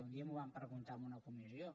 un dia m’ho van preguntar en una comissió